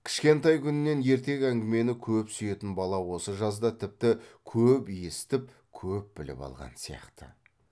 кішкентай күнінен ертек әңгімені көп сүйетін бала осы жазда тіпті көп есітіп көп біліп алған сияқты